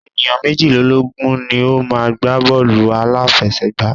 Ènìyàn méjìlélógun ni o má ń gbá bọ́ọ̀lù àláfẹsẹ̀gbá.